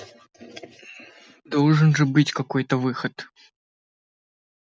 должен же быть какой-то выход